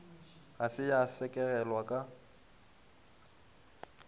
ga se ya sekegelwa ka